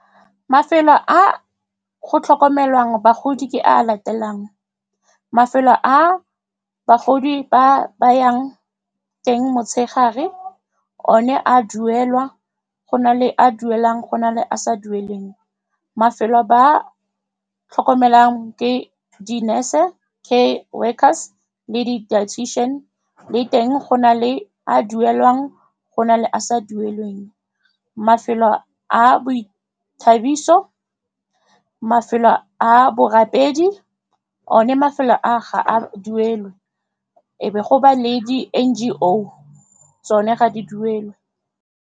Mafelo a go tlhokomelwang bagodi ke a a latelang, mafelo a bagodi ba yang teng motshegare, one a duelwa, go na le a a duelwang, go na le a a sa duelweng. Mafelo ba tlhokomelang ke di-nurse-e, ke workers-e le di-dietition-e le teng go na le a a duelwang, go na le a a sa duelweng, mafelo a boithabiso, mafelo a borapedi, one mafelo a ga a duelwe, e be go ba le di-N_G_O, tsone ga di duelwe.